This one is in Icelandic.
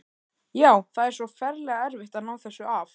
Já, það er svo ferlega erfitt að ná þessu af.